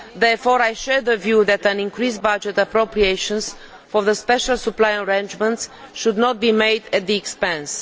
Therefore I share the view that increased budget appropriations for the special supply arrangements should not be made at their expense.